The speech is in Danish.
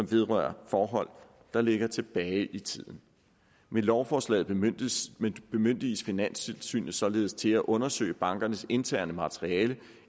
vedrører forhold der ligger tilbage i tiden med lovforslaget bemyndiges bemyndiges finanstilsynet således til at undersøge bankernes interne materiale